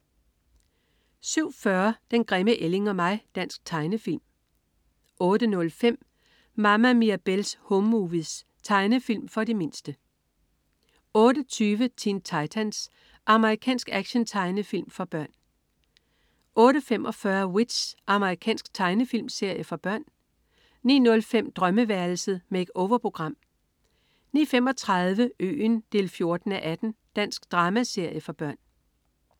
07.40 Den grimme ælling og mig. Dansk tegnefilm 08.05 Mama Mirabelle's Home Movies. Tegnefilm for de mindste 08.20 Teen Titans. Amerikansk actiontegnefilm for børn 08.45 W.i.t.c.h. Amerikansk tegnefilmserie for børn 09.05 Drømmeværelset. Make-over-program 09.35 Øen 14:18. Dansk dramaserie for børn